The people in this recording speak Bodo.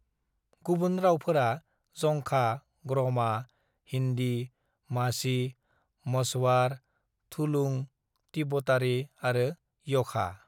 "गुबुन रावफोरा जंखा, ग्रमा, हिन्दी, माझी, मझवार, थुलुं, तिब्बतारि आरो यखा।"